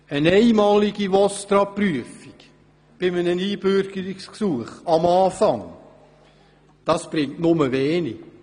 Eine einmalige VOSTRA-Prüfung am Anfang eines Einbürgerungsgesuchs bringt nur wenig.